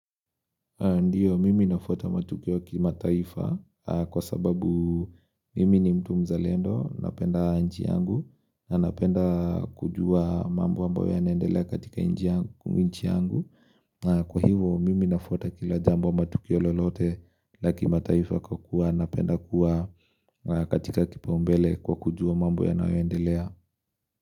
Ndiyo, mimi nafuata matukio ya kimataifa, kwa sababu mimi ni mtu mzalendo, napenda nchi yangu, na ninapenda kujua mambo ambayo ya naendelea katika nchi yangu. Kwa hivyo, mimi ninafuata kila jambo ama tukio lolote la kimataifa kwakuwa napenda kuwa na katika kipaumbele kwa kujua mambo yanayoendelea.